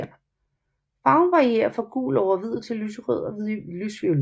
Farven varierer fra gul over hvid til lyserød og lysviolet